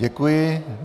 Děkuji.